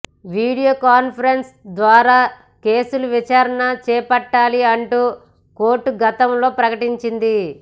video conference ల ద్వారా కేసుల విచారణ చేపట్టాలి అంటూ కోర్టు గతంలో ప్రకటించింది